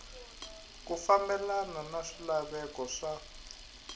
ku fambelena na swilaveko swa